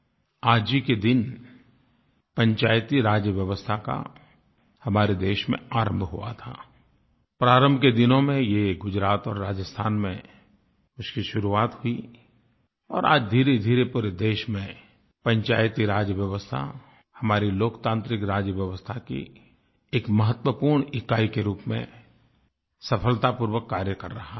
आज ही के दिन पंचायती राज व्यवस्था का हमारे देश में आरम्भ हुआ था और आज धीरेधीरे पूरे देश में पंचायती राज व्यवस्था हमारी लोकतांत्रिक राजव्यवस्था की एक महत्वपूर्ण इकाई के रूप में सफलतापूर्वक कार्य कर रहा है